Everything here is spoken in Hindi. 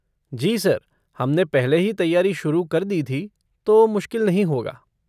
जी सर, हम ने पहले ही तैयारी शुरू कर दी थी तो मुश्किल नहीं होगा।